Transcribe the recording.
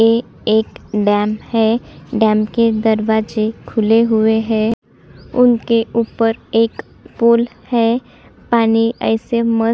ये एक डैम है डैम के दरवाजे खुले हुए है उनके ऊपर एक पुल है पानी ऐसे मस --